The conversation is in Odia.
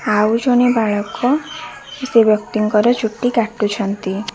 ଆଉ ଜଣେ ବାଳକ ସେହି ବ୍ୟକ୍ତିଙ୍କର ଚୁଟି କାଟୁଛନ୍ତି।